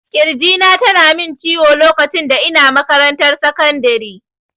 Kirji na tana min ciwo lokacin da ina makarantar sekandiri